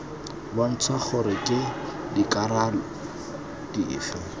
bontsha gore ke dikarolo dife